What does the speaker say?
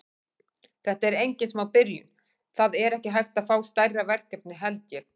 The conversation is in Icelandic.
Þetta er engin smá byrjun, það er ekki hægt að fá stærra verkefni held ég.